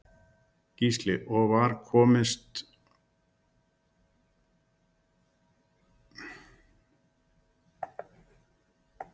Gísli: Og var, komust þau inni í dalinn eða voru þau fyrir utan dalinn?